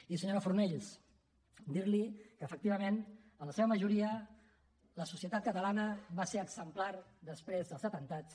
i senyora fornells dir li que efectivament en la seva majoria la societat catalana va ser exemplar després dels atemptats